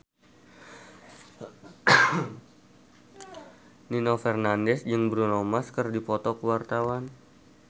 Nino Fernandez jeung Bruno Mars keur dipoto ku wartawan